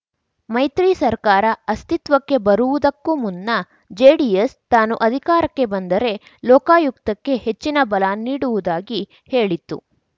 ಮೈತ್ರಿ ಸರ್ಕಾರ ಅಸ್ತಿತ್ವಕ್ಕೆ ಬರುವುದಕ್ಕೂ ಮುನ್ನ ಜೆಡಿಎಸ್‌ ತಾನು ಅಧಿಕಾರಕ್ಕೆ ಬಂದರೆ ಲೋಕಾಯುಕ್ತಕ್ಕೆ ಹೆಚ್ಚಿನ ಬಲ ನೀಡುವುದಾಗಿ ಹೇಳಿತ್ತು